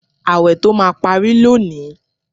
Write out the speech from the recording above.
Ààwẹ̀ tó máa pari lónìí